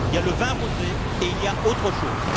Il y a le vin rosé et il y a autre chose.